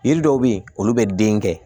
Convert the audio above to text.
Yiri dɔw be yen olu be den kɛ